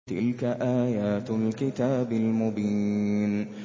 تِلْكَ آيَاتُ الْكِتَابِ الْمُبِينِ